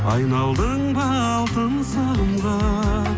айналдың ба алтын сағымға